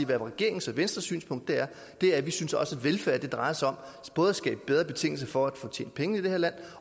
der er regeringens og venstres synspunkt at velfærd også drejer sig om at skabe bedre betingelser for at kunne tjene penge i det her land